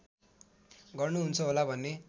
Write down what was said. गर्नुहुन्छ होला भन्ने